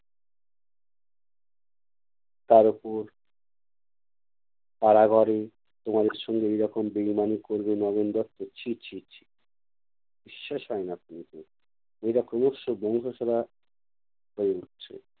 তার উপর তারা ঘরে তোমাদের সঙ্গে এইরকম বেঈমানি করবে নগেন দত্ত, ছি ছি ছি বিশ্বাস হয় না এরা